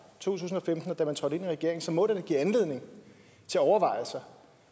tusind og femten og da man trådte ind i regeringen så må det da give anledning til overvejelser